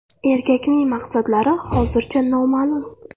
Erkakning maqsadlari hozircha noma’lum.